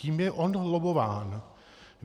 Kým je on lobbován.